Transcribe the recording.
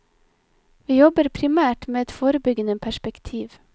Vi jobber primært med et forebyggende perspektiv.